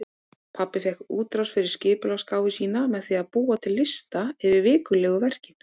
Pabbi fékk útrás fyrir skipulagsgáfu sína með því að búa til lista yfir vikulegu verkin.